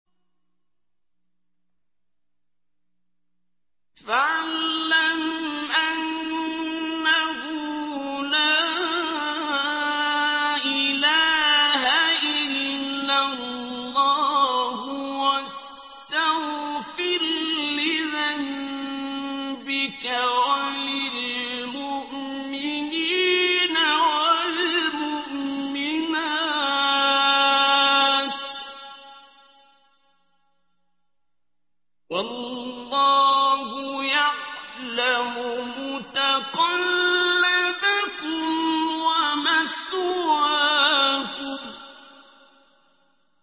فَاعْلَمْ أَنَّهُ لَا إِلَٰهَ إِلَّا اللَّهُ وَاسْتَغْفِرْ لِذَنبِكَ وَلِلْمُؤْمِنِينَ وَالْمُؤْمِنَاتِ ۗ وَاللَّهُ يَعْلَمُ مُتَقَلَّبَكُمْ وَمَثْوَاكُمْ